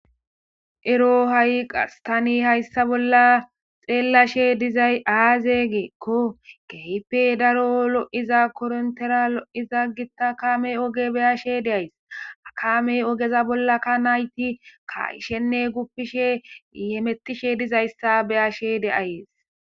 Ero ha'i qastani hayssa bolla xeellashe dizay aazegeekko geype daro lo'iza korontera lo'iza gita kamey oge beyashe deays akamey ogeza bolla ka nayti kaaishenne guppishe yemettishe dizayssa beyashe deayees.